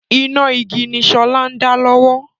Iná igi ni sọlá ń dá lọ́wọ́